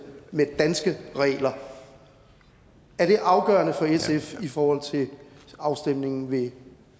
med danske regler er det afgørende for sf i forhold til afstemningen ved